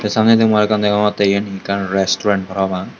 samnedi mui arokkan degongotte iyen ekkan resturant parapang.